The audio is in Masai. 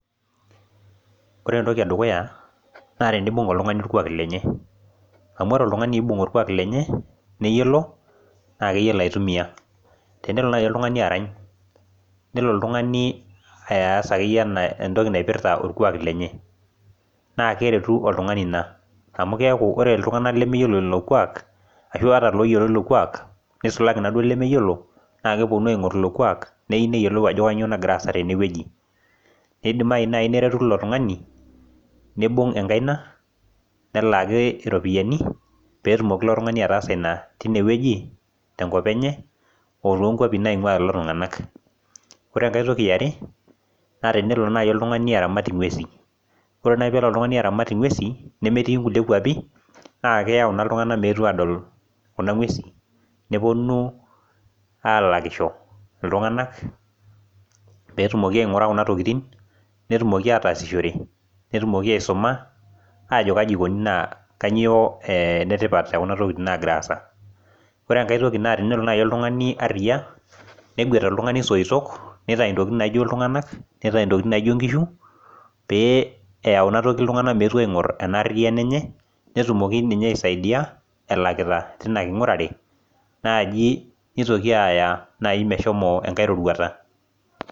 ore entoki edukaya naa teneibung' oltung'ani olkuak lenye amuu teneibung' oltung'ani olkuak lenye neyiolo, naa keyiolo aitumiya tenelo naaji oltung'ani arany naa keretu oltung'ani ina amu ore iltung'anak lemeyiolo ilo kuaak ashu ata iloyiolo ilokuak isulaki naa duo ile meyiolo, naa kepuonu aing'or ilokuak neyieu neyiolou ajo kanyioo nagira asa kidimayu naaji neretu oltungani neelaki iropiyani tenkop enye otoo inkwapi naing'ua lelo tung'anak ore enkae toki yare naa tenelo naaji oltung'ani aramat ing'uesin, ore peelo naaji oltung'ani aramat ing'uesin nemetii inakop , nepuonu alakisho iltung'anak pee etumoki aing'ura kuna tokitin netumoki aatasishore netumoki aisuma ajo kaji ikoni naa kanyioo ee inetipat kunatokitin nagira aasa ore enkae toki naa tenelo naaji oltung'ani ariyia nenguet oltung'ani isoitok nitayu intokitin naijo inguesin netumoki ninye aisaidia tina king'urare naaji nitoki aya naaji meshomo enkae roruata.